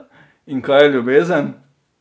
In kaj je ljubezen?